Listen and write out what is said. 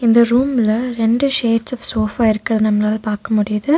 இந்த ரூம்ல ரெண்டு ஷேட்ஸ் ஆஃப் சோஃபா இருக்கறத நம்மலால பாக்க முடியுது.